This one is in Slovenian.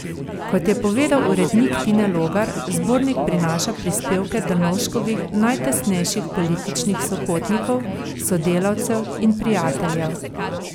Kot je povedal urednik Tine Logar, zbornik prinaša prispevke Drnovškovih najtesnejših političnih sopotnikov, sodelavcev in prijateljev.